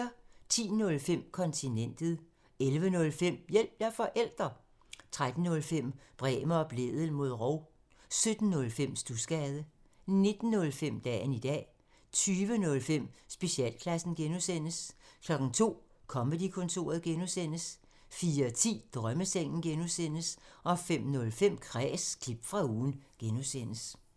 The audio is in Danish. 10:05: Kontinentet 11:05: Hjælp – jeg er forælder! 13:05: Bremer og Blædel mod rov 17:05: Studsgade 19:05: Dagen i dag 20:05: Specialklassen (G) 02:00: Comedy-kontoret (G) 04:10: Drømmesengen (G) 05:05: Kræs – klip fra ugen (G)